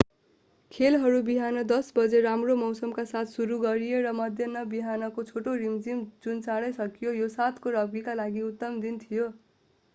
खेलहरू बिहान 10:00 बजे राम्रो मौसमका साथ सुरु गरिए र मध्य बिहानको छोटो रिमझिम जुन चाँडै सकियो यो 7 को रग्बीका लागि उत्तम दिन थियो